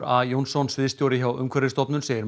a Jónsson sviðsstjóri hjá Umhverfisstofnun segir